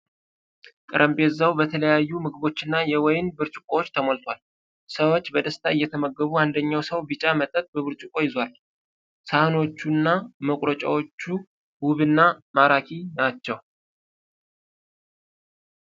ጠረጴዛው በተለያዩ ምግቦች እና የወይን ብርጭቆዎች ተሞልቷል። ሰዎች በደስታ እየተመገቡ አንደኛው ሰው ቢጫ መጠጥ በብርጭቆ ይዟል። ሳህኖቹና መቁረጫዎቹ ውብና ማራኪ ናቸው።